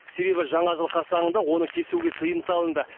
себебі жаңа жыл қарсаңында оны кесуге тыйым салынды